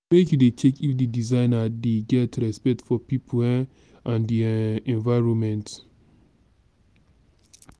make you dey check if di designer dey get respect for pipo um and di um environment.